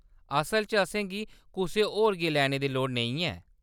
असल च, असेंगी कुसै होर गी लैने दी लोड़ नेईं ऐ।